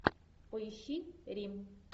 поищи рим